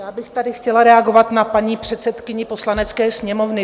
Já bych tady chtěla reagovat na paní předsedkyni Poslanecké sněmovny.